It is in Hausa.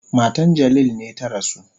Matan Jalil ne ta rasu.